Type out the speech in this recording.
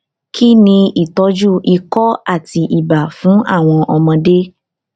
kí ni ìtọjú ikọ àti ibà fún àwọn ọmọdé